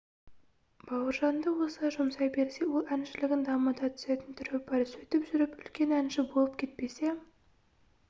бауыржанды осылай жұмсай берсе ол әншілігін дамыта түсетін түрі бар сөйтіп жүріп үлкен әнші болып кетпесе